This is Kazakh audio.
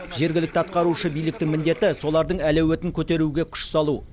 жергілікті атқарушы биліктің міндеті солардың әлеуетін көтеруге күш салу